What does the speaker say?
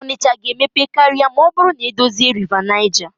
Onitsha ga-emepe karịa ma ọ bụrụ na-edozie Rịva Naịja.